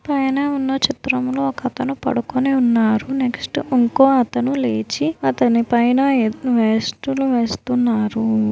పైన ఉన్న చిత్రంలో ఒకతను పడుకొని ఉన్నాడు నెక్స్ట్ ఇంకోకతను లేచి అతని పైన వేస్టులు వేస్తున్నాడు.